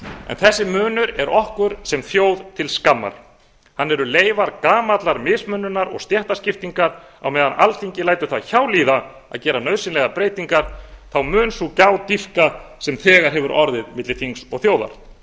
en þessi munur er okkur sem þjóð til skammar hann eru leifar gamallar mismununar og stéttaskiptingar á meðan alþingi lætur það hjá líða að gera nauðsynlegar breytingar þá mun sú gjá dýpka sem þegar hefur orðið milli þings og þjóðar